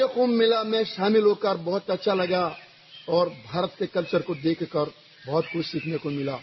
मुझे कुम्भ मेला में शामिल होकर बहुत अच्छा लगा और भारत के कल्चर को देखकर बहुत कुछ सीखने को मिला